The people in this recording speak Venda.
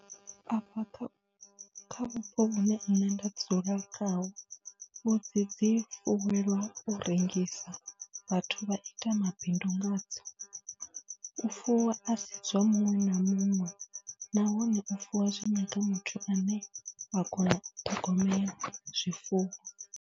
Afha kha, kha vhupo vhune nṋe nda dzula khaho, mbudzi dzi fuwelwa u rengisa, vhathu vha ita mabindu ngadzo. U fuwa a si zwa muṅwe na muṅwe nahone u fuwa zwi nyaga muthu ane a kona u ṱhogomela zwifuwo.